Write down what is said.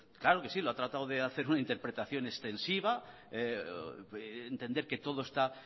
claro que sí lo ha tratado de hacer una interpretación extensiva entender que todo está